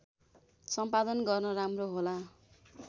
सम्पादन गर्न राम्रो होला